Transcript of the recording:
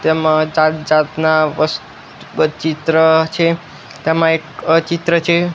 તેમાં જાત જાતના વસ્ત ચિત્ર છે તેમાં એક અ ચિત્ર છે.